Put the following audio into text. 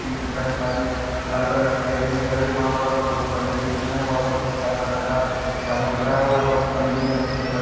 खाली लाल कलर की चेयर भी दिख रही हैं वहाँ पर बहोत पर्दे भी दिख रहे हैं वहाँ पर व्हाइट कलर सा झालार दिख रहा हैं वहाँ बहुत गमले भी रखे हुए दिखाई--